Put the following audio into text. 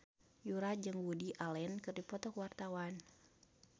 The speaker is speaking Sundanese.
Yura jeung Woody Allen keur dipoto ku wartawan